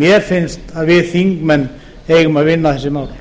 mér finnst að við þingmenn eigum að vinna þessi mál